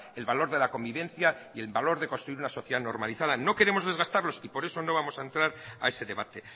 el valor de la convivencia y el valor de construir una sociedad normalizada no queremos desgastarlos y por eso no vamos a entrar a ese debate